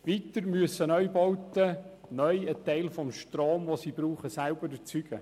Weiter müssen Neubauten zukünftig einen Teil des Stroms, den sie verbrauchen, selber erzeugen.